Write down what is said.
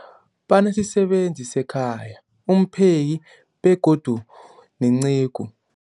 Banesisebenzi sekhaya, umpheki, begodu nenceku.